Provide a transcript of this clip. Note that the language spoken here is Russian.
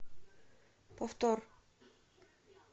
повтор